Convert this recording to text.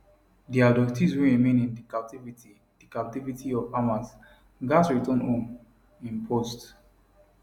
di abductees wey remain in di captivity di captivity of hamas gatz return home im post